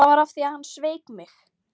Það var af því að hann sveik mig.